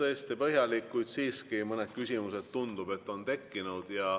Tõesti oli põhjalik, kuid siiski mõned küsimused, tundub, on tekkinud.